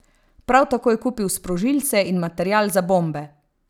Prav tako je kupil sprožilce in material za bombe.